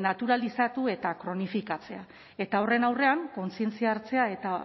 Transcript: naturalizatu eta kronifikatzea eta horren aurrean kontzientzia hartzea eta